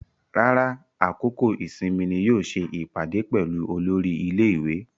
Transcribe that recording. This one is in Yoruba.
Rárá, àkókò ìsinmi ni yóò ṣe ìpàdé pẹ̀lú olórí ilé-ìwé.